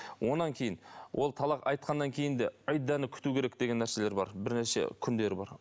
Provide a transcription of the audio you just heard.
одан кейін ол талақ айтқаннан кейін де күту керек деген нәрселер бар бірнеше күндері бар